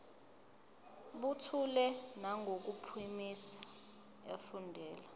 buthule nangokuphimisa efundela